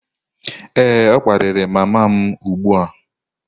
Ee, ọ kparịrị mama m ugbu a